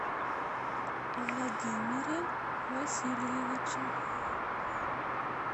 владимире васильевиче